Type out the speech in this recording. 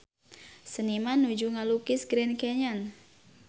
Seniman nuju ngalukis Grand Canyon